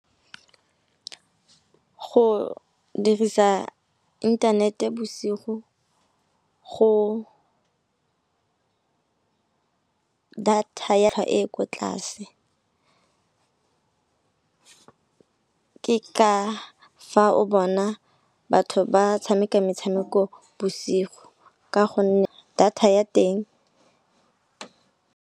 Go dirisa inthanete bosigo go data ya e e ko tlase. Ke ka fa o bona batho ba tshameka metshameko bosigo ka gonne data ya teng.